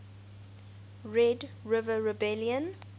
red river rebellion